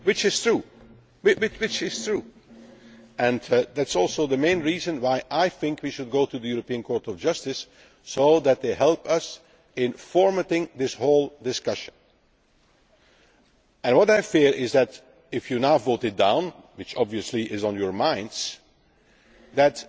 ready. This is true and it is also the main reason why I think we should go to the European Court of Justice so that they help us in formatting this whole discussion. What I fear is that if you now vote it down which obviously is on your minds